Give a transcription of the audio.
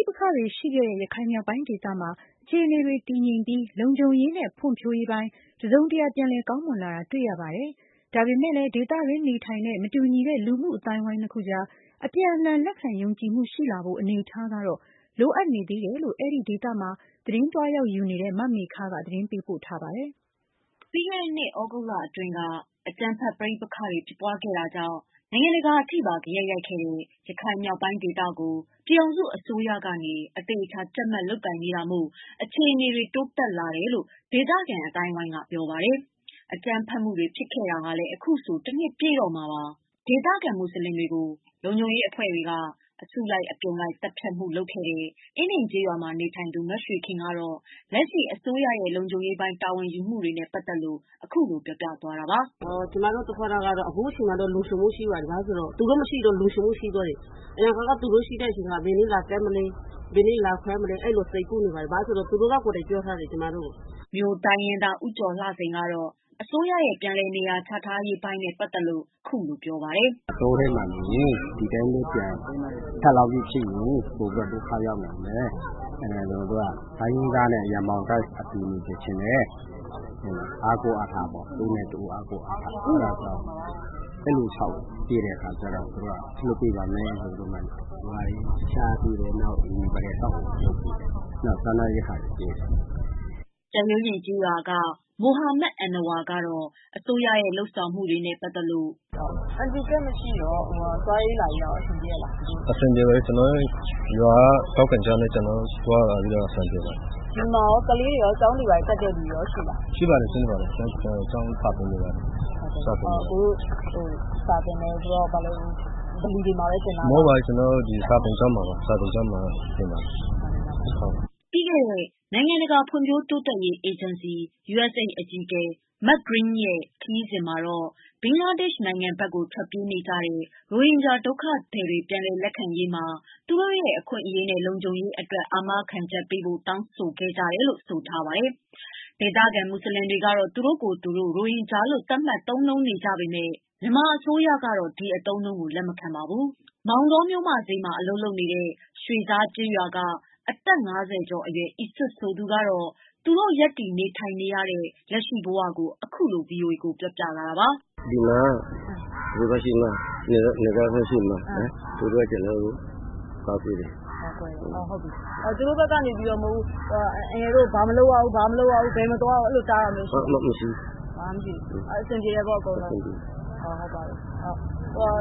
ိပက္ခတွေရှိခဲ့တဲ့ ရခိုင်မြောက်ပိုင်းဒေသမှာ အခြေအနေတွေ တည်ငြိမ်ပြီး လုံခြုံရေးနဲ့ဖွံဖြိုးရေးပိုင်း တစုံတရာပြန်လည်ကောင်းမွန်လာတယ် တွေ့ရပါတယ်။ ဒါပေမယ့်လည်း ဒေသတွင်း နေထိုင်တဲ့ မတူညီတဲ့ လူမှုအသိုင်းအဝိုင်းနှစ်အခုအကြား အပြန်အလှန်လက်ခံယုံကြည်မှုရှိလာဖို့ အနေအထားကတော့ လိုအပ်နေသေးတယ်လို့ အဲဒီဒေသမှာ သတင်းသွားရောက်ယူနေတဲ့ မမေခက သတင်းပေးပို့ထားပါတယ်။ ပြီးခဲ့တဲ့နှစ်သြဂုတ်လအတွင်းက အကြမ်းဖက်ပဋိပက္ခတွေဖြစ်ခဲ့တာကြောင့် နိုင်ငံတကာအထိပါ ဂယက်ရိုက်ခဲ့တဲ့ ရခိုင်မြောက်ပိုင်းဒေသကို ပြည်ထောင်စုအစိုးရကနေ အသေအချာ ကြပ်မတ်လုပ်ကိုင်နေတာမို့ အခြေအနေတွေ တိုးတက်လာတယ်လို့ ဒေသခံ အသိုင်းအဝိုင်းက ပြောပါတယ်။ အကြမ်းဖက်မှုတွေဖြစ်ခဲ့တာလည်း အခုဆို တနှစ်ပြည့်တော့မှာပါ။ ဒေသခံ မွတ်ဆလင်တွေကို အစုလိုက်အပြုံလိုက်သတ်ဖြတ်မှုဖြစ်ခဲ့တဲ့ အင်းဒင်ကျေးရွာမှာနေထိုင်သူမရွှေခင်ကတော့ လက်ရှိ အစိုးရရဲ့ လုံခြုံရေးပိုင်း တာဝန်ယူမှုတွေနဲ့ပတ်သတ်လို့ "ကျမတို့ကတော့ အခုအချိန်မှာ လုံခြုံမှုရှိပါတယ် ဘာဖြစ်လို့လဲဆိုတော့ သူတို့မရှိတော့ လုံခြုံမှုရှိသွားတယ် အရင်တုန်းကတော့ ဘယ်နေ့လာဖမ်းမလဲဆိုတာတွေ စိုးရိမ်နေရပါတယ်။ ဘာဖြစ်လို့လဲဆိုတော့ သူတို့ကိုယ်တိုင်ပြောထားတယ် ကျမတို့ကို" မြိုတိုင်းရင်းသား ဦးကျော်လှစိန်ကတော့ အစိုးရရဲ့ ပြန်လည်နေရာချထားရေးပိုင်း နဲ့ပတ်သတ်လို့ အခုလိုပြောပြလာတာ ပါ။ " ဒီအတိုင်းပဲနေရင် ပြန်ဒုက္ခရောက်နိုင်တယ် အဲဒါကြောင့်မို့လို့ ကျနော်တို့ကို တိုင်းရင်းသားတွေ ရင်ဘောင်တန်းပြီးအတူနေစေချင်တယ် ။ တဦးနဲ့ တဦးအားကိုးအားထားဖို့ပေါ့နော် အဲဒါကြောင့် အဲလိုဆောက်ပေးပါမယ်ဆိုပြီးတော့ နေရာတွေချပေးတယ်။ အိမ်အဆောက်အအုံတွေလုပ်ပေးတယ် နောက်ပြီးတော့ စားနပ်ရိက္ခာတွေ ပေးတယ်။" ကြက်ရိုးပြင် ကျေးရွာက မိုဟာမက် အဏ္ဏဝါကတော့ အစိုးရရဲ့ လုပ်ဆောင်မှု တွေနဲ့ပတ်သတ်လို့ သွားရေးလာရေးကတော့ အဆင်ပြေရဲ့လား။ အဆင်ပြေပါတယ်။ ရွာက ထောက်ခံချက်တွေနဲ့ ကျနော်တို့ သွားရတာအဆင်ပြေပါတယ်။ ဒီမှာ ကလေးတွေ ကျောင်းတွေဘာတွေ တက်တဲ့လူတွေရောရှိလား။ ရှိပါတယ် ကျောင်းစာတွေတင်နေပါတယ်။ စာသင်တယ်ဆိုတော့ ဗလီတွေမှာပဲသင်တာလား။ မဟုတ်ပါဘူး ကျနော်တို့ စာသင်ကျောင်းတွေမှာပဲ သင်ပါတယ်။" ပြီးခဲ့တဲ့ နိုင်ငံတကာဖွံ့ဖြိုးတိုးတက်ရေးအေဂျင်စီ အကြီးအကဲ Mark Green ရဲ့ခရီးစဉ်မှာဘင်္ဂလားဒေရှ် နိုင်ငံဘက်ကို ထွက်ပြေးကြတဲ့ ရိုဟင်ဂျာ ဒုက္ခသည်တွေပြန်လည် ရောက်လာရေးမှာ သူတို့ရဲ့ အခွင့် အရေးနဲ့ လုံခြုံရေးအတွက် အာမခံချက်ပေးဖို့ တောင်းခံကြတယ်လို့ ဆိုထားပါတယ်။ ဒေသခံ မွတ်ဆလင်တွေကတော့ သူတို့ကိုယ်သူတို့ ရိုဟင်ဂျာလို့ သတ်မှတ်သုံးနှုန်းပေ့မယ့် မြန်မာအစိုးရကတော့ ဒီအသုံးအနှုံးကို လက်မခံပါဘူး။ မောင်တောမြို့ မဈေးမှာ အလုပ်လုပ်နေတဲ့ ရွှေဇားကျေးရွာက အသက် ၅၀ကျော်အရွယ် အီစွက်ဆိုသူက သူတို့ ရပ်တည်နေထိုင်နေရတဲ့ အခြေအနေကို ခုလိုပြောပြလာပါတယ်။ "ဒီမှာက နယ်ကြားစောင့်တွေရှိတယ်မလား သူတို့က ကျနော်တို့ကို ကာကွယ်တယ်။ သူတို့ဘက်ကနေပြီးတော့ အန်ကယ်တို့ကို ဘာမလုပ်ရဘူး၊ ဘယ်မသွားရဘူးဆိုပြီးတော့ တားတာတွေရှိလား။ ဘာမှမရှိဘူး အဆင်ပြေတယ်ပေါ့ အကုန်လုံး။